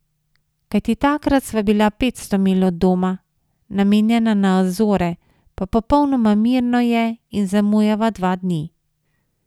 Kajti takrat sva bila petsto milj od doma, namenjena na Azore, pa popolnoma mirno je in zamujava dva dni.